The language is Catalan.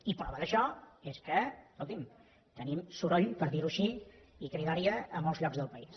i prova d’això és que escolti’m tenim soroll per dir ho així i cridòria a molts llocs del país